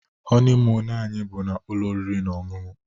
honeymoon anyị bu na ụlọ oriri na ọṅụṅụ